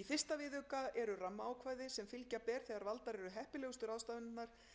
í fyrsta viðauka eru rammaákvæði sem fylgja ber þegar valdar eru heppilegustu ráðstafanirnar til að tryggja úrbætur vegna